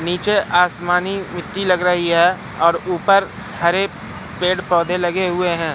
नीचे आसमानी मिट्टी लग रही है और ऊपर हरे पेड़ पौधे लगे हुए हैं।